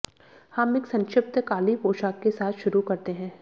हम एक संक्षिप्त काली पोशाक के साथ शुरू करते हैं